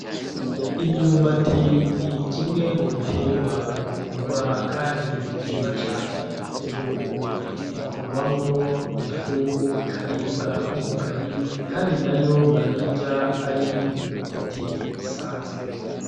Imyumbati ni kimwe mu biterwa bikundwa kandi birimwa cane mu gihugu, ikorwamwo ifu ikaribwa nk’ubugari kandi na yo barayirya ari imyumbati isanzwe.